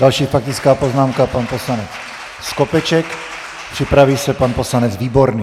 Další faktická poznámka, pan poslanec Skopeček, připraví se pan poslanec Výborný.